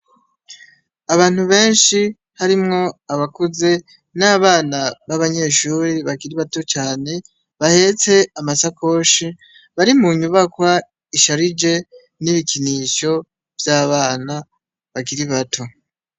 Abantu beshi harimwo abakuze n'abana baba nyeshuri bakiri bato cane bahetse amasakoshi bari mu nyubakwa isharije n'ibikinisho vy'abana bakiri bato.